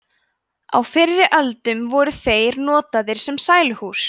á fyrri öldum voru þeir notaðir sem sæluhús